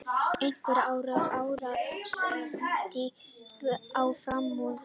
Einhver árstíð á framrúðunni.